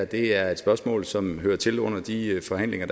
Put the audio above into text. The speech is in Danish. det her er et spørgsmål som hører til under de forhandlinger